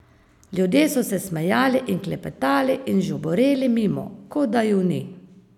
Ljudje so se smejali in klepetali in žuboreli mimo, kot da ju ni.